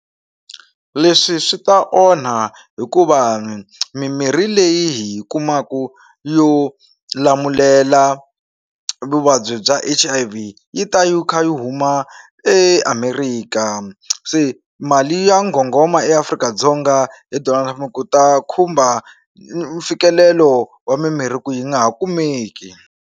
Leswi swi ta onha hikuva mimirhi leyi hi kumaka yo lamulela vuvabyi bya H_I_V yi ta yi kha yi huma eAmerika se mali ya nghonghoma eAfrika-Dzonga hi Donald ku ta khumba mfikelelo wa mimirhi ku yi nga ha kumeki.